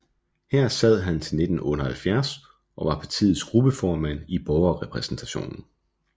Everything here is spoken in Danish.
Her sad han til 1978 og var partiets gruppeformand i Borgerrepræsentationen